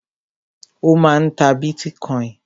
Ó máà ń ta bitcoin.